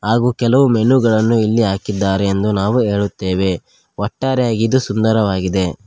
ಹಾಗೂ ಕೆಲವು ಮೆನು ಗಳನ್ನು ಇಲ್ಲಿ ಹಾಕಿದ್ದಾರೆ ಎಂದು ನಾವು ಹೇಳುತ್ತೇವೆ ಒಟ್ಟಾರೆಯಾಗಿ ಇದು ಸುಂದರವಾಗಿದೆ.